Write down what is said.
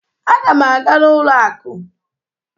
Aga m aga n'ụlọ akụ.